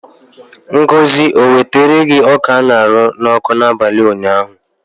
Ngozi ewetara gi ọka a ṅara n'ọkụ n'abalị ụnyaahụ?